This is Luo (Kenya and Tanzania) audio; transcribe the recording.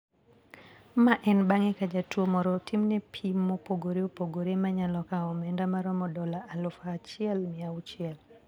Mae en bang`e ka jatuo moro otimne pim mopogore opogore ma nyalo kawo omenda maromo dola aluf achiel mia auchiel.